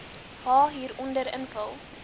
h hieronder invul